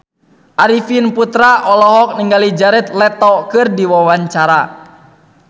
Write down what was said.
Arifin Putra olohok ningali Jared Leto keur diwawancara